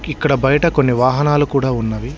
ఇక్కడ బయట కొన్ని వాహనాలు కూడా ఉన్నవి.